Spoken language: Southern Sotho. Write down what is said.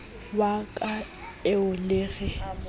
wa ka eo le re